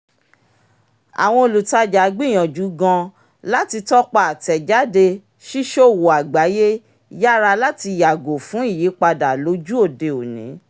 àwọn olùtajà gbìyànjú gan-an láti tọ́pa àtẹ̀jáde ṣíṣòwò àgbáyé yára láti yàgò fún ìyípadà lójù-òde òní